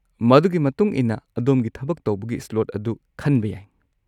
ꯃꯗꯨꯒꯤ ꯃꯇꯨꯡ ꯏꯟꯅ ꯑꯗꯣꯝꯒꯤ ꯊꯕꯛ ꯇꯧꯕꯒꯤ ꯁ꯭ꯂꯣꯠ ꯑꯗꯨ ꯈꯟꯕ ꯌꯥꯏ꯫